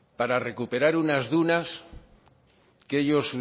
para recuperar unas dunas que ellos